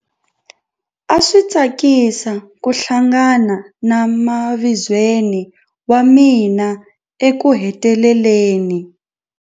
A swi tsakisa ku hlangana na mavizweni wa mina ekuheteleleni.